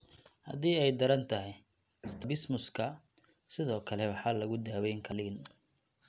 Haddii ay daran tahay, strabismuska sidoo kale waxaa lagu daweyn karaa qaliin.